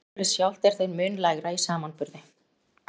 Orkuverðið sjálft er þeim mun lægra í samanburði.